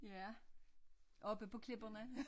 Ja oppe på klipperne